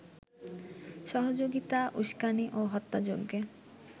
সহযোগিতা, উস্কানি ও হত্যাযজ্ঞে